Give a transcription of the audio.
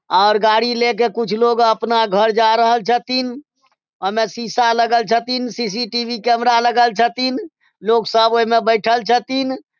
और गाड़ी लेके कुछ लोग अपना घर जा रहल छथीन | ओय मे शीशा लगएल छथीन सी.सी.टी.वी लगएल छथीन | सब लोग सब ओमे बैठएल छथीन |